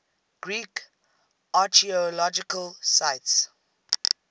greek archaeological sites